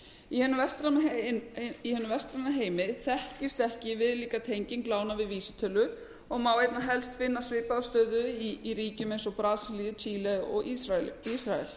í hinum vestræna heimi þekkist ekki viðlíka tenging lána við vísitölu og má einna helst finna svipaða stöðu í ríkjum eins og brasilíu chile og ísrael